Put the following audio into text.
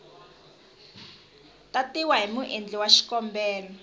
tatiwa hi muendli wa xikombelo